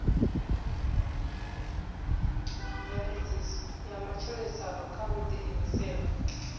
mveledziso ya matshilisano kha vhuḓiimiseli